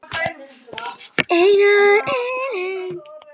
Einar Eyland.